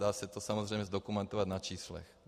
Dá se to samozřejmě zdokumentovat na číslech.